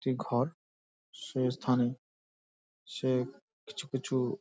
একটি ঘর শেষ থানে সে কিছু কিছু--